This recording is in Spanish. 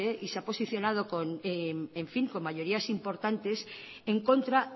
y se ha posicionado con mayorías importantes en contra